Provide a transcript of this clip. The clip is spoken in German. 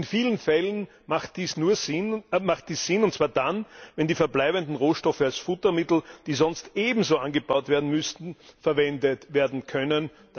In vielen Fällen macht dies Sinn, und zwar dann, wenn die verbleibenden Rohstoffe als Futtermittel die sonst ebenso angebaut werden müssten verwendet werden können.